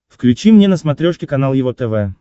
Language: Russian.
включи мне на смотрешке канал его тв